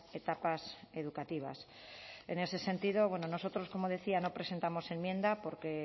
etapas educativas en ese sentido bueno nosotros como decía no presentamos enmienda porque